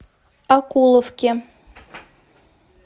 окуловке